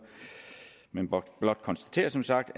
men blot konstatere som sagt